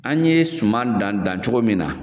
An ye suman dan dan cogo min na